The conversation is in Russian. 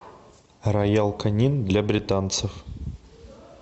роял канин для британцев